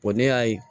ne y'a ye